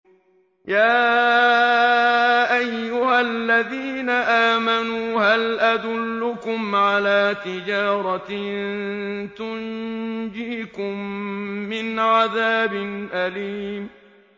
يَا أَيُّهَا الَّذِينَ آمَنُوا هَلْ أَدُلُّكُمْ عَلَىٰ تِجَارَةٍ تُنجِيكُم مِّنْ عَذَابٍ أَلِيمٍ